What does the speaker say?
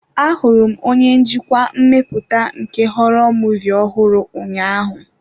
Ahụrụ m onye njikwa mmepụta nke họrọ muvịị ọhụrụ ụnyaahụ.